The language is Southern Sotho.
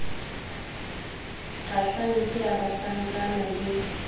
kgahlang ke ya banhlankana le